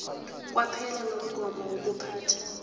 kwaphela nomgomo wokuphatha